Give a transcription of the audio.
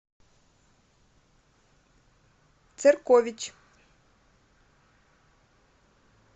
церкович